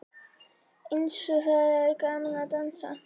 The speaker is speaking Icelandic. Eins og það er gaman að dansa!